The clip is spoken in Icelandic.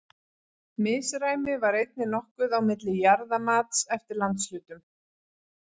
Misræmi var einnig nokkuð á milli jarðamats eftir landshlutum.